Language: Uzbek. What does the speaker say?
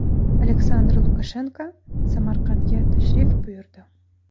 Aleksandr Lukashenko Samarqandga tashrif buyurdi.